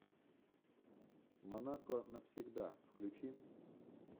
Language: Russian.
монако навсегда включи